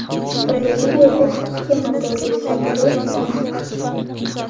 Braziliyada ikki motorli samolyot yonib ketdi.